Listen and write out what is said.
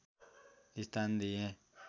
स्थान दिए